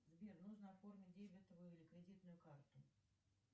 сбер нужно оформить дебетовую и кредитную карту